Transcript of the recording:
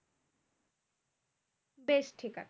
বেশ ঠিকাছে?